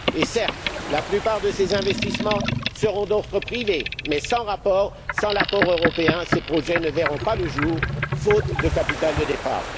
Certes, la plupart de ces investissements seront d'ordre privé mais sans l'apport européen, ces projets ne verront pas le jour, faute de capital de départ.